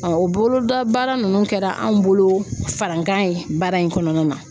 o boloda baara nunnu kɛra anw bolo farankan ye baara in kɔnɔna na.